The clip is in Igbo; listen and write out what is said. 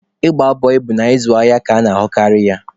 Ịgba bọị bụ na ịzụ ahịa ka a na-ahụkarị ya.